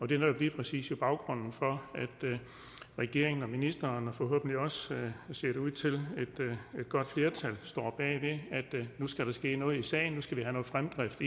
det er netop lige præcis baggrunden for at regeringen og ministeren og forhåbentlig også ser det ud til et godt flertal står bag ved at nu skal der ske noget i sagen nu skal vi have noget fremdrift